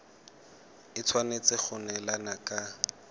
e tshwanetse go neelana ka